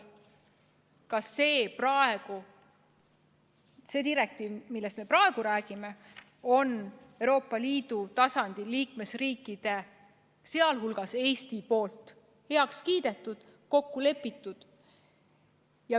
Ka selle direktiivi, millest me praegu räägime, on Euroopa Liidu liikmesriigid, sh Eesti, heaks kiitnud, selle ülevõtmises kokku leppinud.